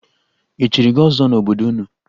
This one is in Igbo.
E chiri gị ọzọ n'obodo unu?